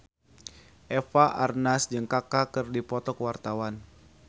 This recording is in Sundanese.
Eva Arnaz jeung Kaka keur dipoto ku wartawan